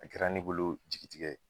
A kɛra ne bolo jigitigɛ